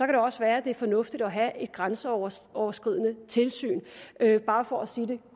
det også være det er fornuftigt at have et grænseoverskridende tilsyn bare for at sige det